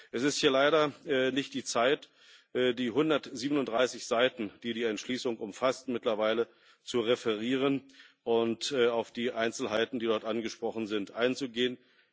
Es ist hier leider nicht die Zeit, die 137 Seiten, die die Entschließung mittlerweile umfasst, zu referieren und auf die Einzelheiten, die dort angesprochen sind, einzugehen.